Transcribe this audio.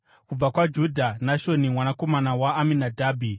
kubva kwaJudha, Nashoni mwanakomana waAminadhabhi;